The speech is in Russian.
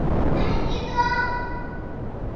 найди дом